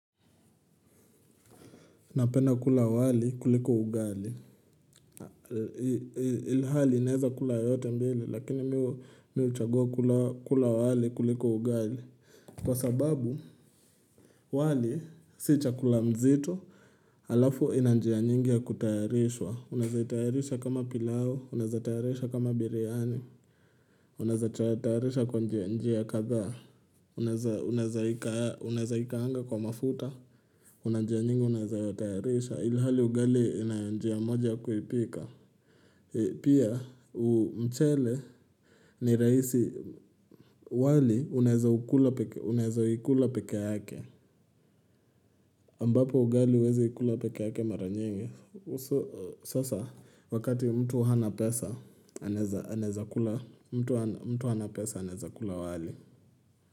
Napena kula wali kuliko ugali. Ilhali ninaweza kula yote mbili lakini mimi huchagua kula wali kuliko ugali. Kwa sababu wali si chakula mzito. Alafu ina njia nyingi ya kutayarishwa. Unazahitayarisha kama pilau, unazahitayarisha kama biryani. Unazahitayarisha kwa njia kadhaa. Unazaikaanga kwa mafuta. Kuna njia nyingi unaeza yatayarisha ilihali ugali ina njia moja kuipika Pia mchele ni raisi wali unaeza ukula peke yake ambapo ugali uwezi ikula peke yake mara nyingi Sasa wakati mtu hana pesa anaeza kula wali.